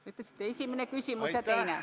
Te ütlesite, esimene küsimus ja teine.